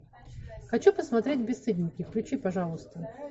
хочу посмотреть бесстыдники включи пожалуйста